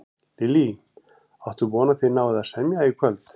Lillý: Áttu von á að þið náið að semja í kvöld?